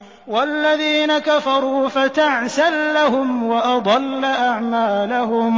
وَالَّذِينَ كَفَرُوا فَتَعْسًا لَّهُمْ وَأَضَلَّ أَعْمَالَهُمْ